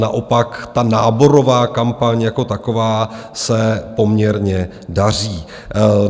Naopak ta náborová kampaň jako taková se poměrně daří.